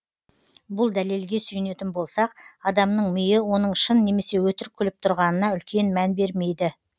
бұл дәлелге сүйенетін болсақ адамның миы оның шын немесе өтірік күліп тұрғанына үлкен мән бермейді